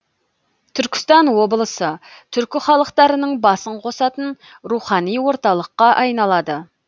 түркістан облысы түркі халықтарының басын қосатын рухани орталыққа айналады